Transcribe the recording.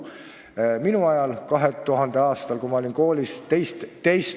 Minu ajal, 2000. aastal, kui ma olin koolis teist hooaega ...